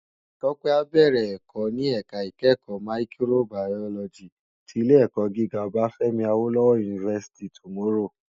Tope á bèrè èkò ni èká ikèékò máyìkróbàyólòjí ti Ilé èkò gigá Obafemi Awolowo University tomorrow